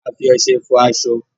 a fí Ọṣẹ fọ aṣọ.